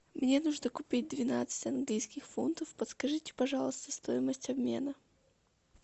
мне нужно купить двенадцать английских фунтов подскажите пожалуйста стоимость обмена